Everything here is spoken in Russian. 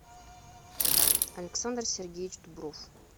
александр сергеевич дубров